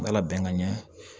N ka labɛn ka ɲɛ